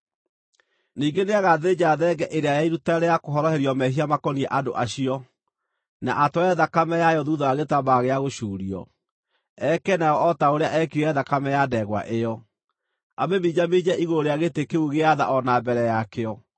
“Ningĩ nĩagathĩnja thenge ĩrĩa ya iruta rĩa kũhoroherio mehia makoniĩ andũ acio, na atware thakame yayo thuutha wa gĩtambaya gĩa gũcuurio, eke nayo o ta ũrĩa eekire thakame ya ndegwa ĩyo: amĩminjaminje igũrũ rĩa gĩtĩ kĩu gĩa tha o na mbere yakĩo.